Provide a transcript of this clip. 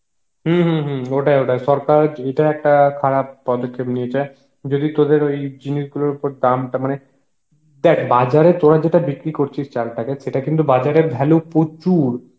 হম হম হম ওটাই ওটাই সরকার এইটার একটা খারাপ পদক্ষেপ নিয়েছে, যদি তদের ওই জিনিস গুলোর ওপর দামটা মানে, দেখ বাজারে তরা যেটা বিক্রি করছিস চাল টাকে সেটা কিন্তু বাজারে value প্রচুর